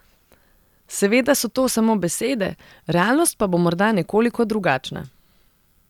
Seveda so to samo besede, realnost pa bo morda nekoliko drugačna.